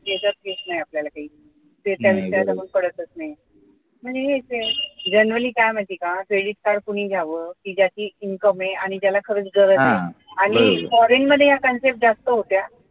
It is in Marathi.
आपल्याला काही generally काय आहे माहितीये का credit card कोणी घ्यावं की ज्याच income आहे आणि ज्याला खरंच गरज आहे आणि foreign मध्ये या concept जास्त होत्या